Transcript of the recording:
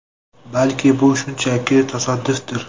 Balki, bu shunchaki tasodifdir.